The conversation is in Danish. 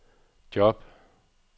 job